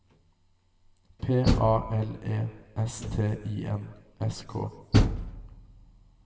P A L E S T I N S K